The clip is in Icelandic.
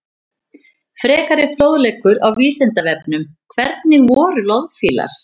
Frekari fróðleikur á Vísindavefnum: Hvernig voru loðfílar?